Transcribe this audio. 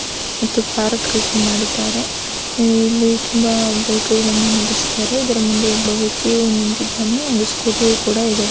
ಮತ್ತು ಪಾರ್ಕ್ ರೀತಿ ಮಾಡಿದ್ದಾರೆ ಇಲ್ಲಿ ತುಂಬಾ ಬೈಕ್ಗಳನ್ನು ನಿಲ್ಲಿಸಿದ್ದಾರೆ ಇದರ ಮುಂದೆ ಒಬ್ಬ ವ್ಯಕ್ತಿಯು ನಿಂತಿದ್ದಾನೆ ಒಂದು ಸ್ಕೂಟಿಯು ಕೂಡ ಇದೆ.